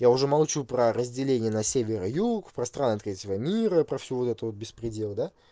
я уже молчу про разделение на север и юг про страны третьего мира про всю вот это вот беспредел да